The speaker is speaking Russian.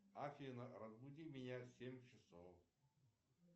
афина разбуди меня в семь часов